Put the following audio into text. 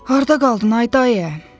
Harda qaldın ay dayə?